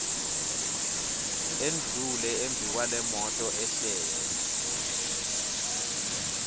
endlule embikwalemoto ehlele